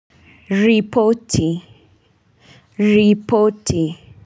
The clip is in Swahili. Ripoti ripoti.